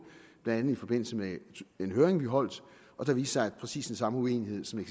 blandt andet i forbindelse med en høring vi holdt og da viste at præcis den samme uenighed som